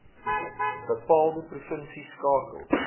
bepaalde provinsie skakel